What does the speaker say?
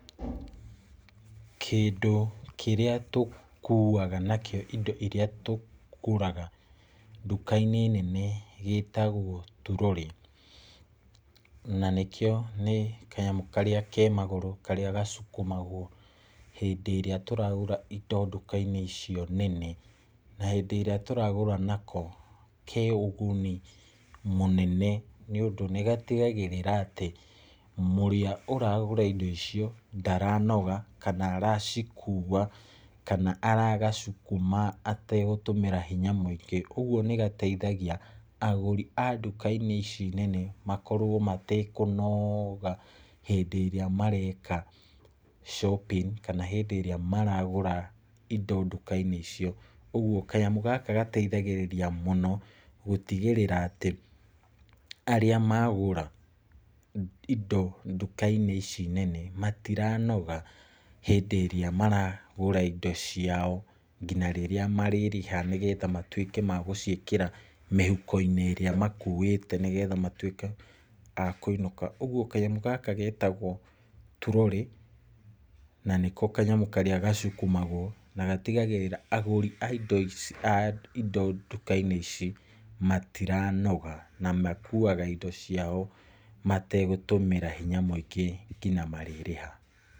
Kĩndũ kĩrĩa tũkuuaga nakio indo irĩa tũgũraga nduka-inĩ nene gĩĩtagwo turorĩ, na nĩkĩo nĩ kanyamũ karĩa ke magũrũ, karĩa gacukumagwo hĩndĩ ĩrĩa tũragũra indo nduka-inĩ icio nene, na hĩndĩ ĩrĩa tũragũra nako ke ũguni mũnene nĩ ũndũ nĩgatigagĩrĩra atĩ , ũrĩa ũragũra indo icio ndaranoga kana aracikua kana aragacukuma atagũtũmĩra hinya mũingĩ, ũgwo nĩ gateithagia agũri a nduka ici nene makorwo matekũnoga hĩndĩ ĩrĩa mareka shopping , kana hĩndĩ ĩrĩa maragũra indo nduka-inĩ icio, ũgwo kanyamũ gaka gateithagĩrĩria mũno gũtigĩrĩra atĩ arĩa magũra indo nduka-inĩ icio nene matiranoga hĩndĩ ĩrĩa maragũra indo ciao , nginya rĩrĩa marĩrĩha nĩgetha matwĩke magũciĩkĩra mĩhuko-inĩ iria makuĩte nĩgetha matwĩke a kũinũka, ũgwo kanyamũ gaka getagwo turorĩ , na nĩko kanyamũ karĩa gacukumagwo, na gatigagĩrĩra agũri a indo nduka-inĩ ici matiranoga, na makuaga indo ciao matagũtũmĩra hinya mũingĩ nginya marĩrĩha.